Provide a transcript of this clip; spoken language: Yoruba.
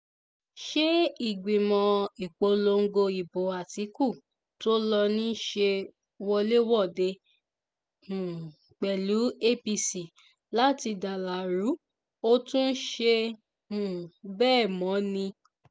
ṣe ìgbìmọ̀ ìpolongo ìbò àtìkù tó ló ń ṣe wọléwọ̀de um pẹ̀lú apc láti dalárù ó tún ṣe um bẹ́ẹ̀ mọ́ ni